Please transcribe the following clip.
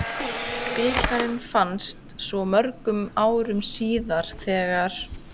Bikarinn fannst svo mörgum árum síðar þegar